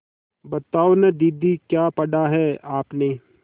बताओ न दीदी क्या पढ़ा है आपने